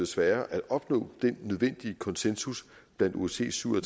sværere at opnå den nødvendige konsensus blandt osces syv og